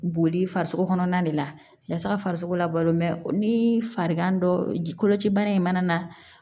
Boli farisoko kɔnɔna de la yasa farisoko la balo mɛ ni farigan dɔ ji kolocibana in mana na